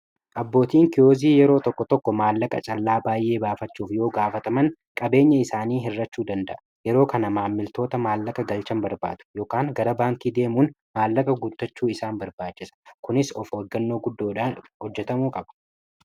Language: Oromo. abbootiin kiyozii yeroo tokko tokko maallaqa callaa baay'ee baafachuuf yoo gaafataman qabeenya isaanii hirrachuu danda'a yeroo kana maammiltoota maallaqa galchan barbaadu gara baankii deemuun maallaqa guutachuu isaan barbaachisa kunis of oggannoo guddoodhaan hojjatamuu qaba